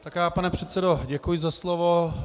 Pane předsedo, děkuji za slovo.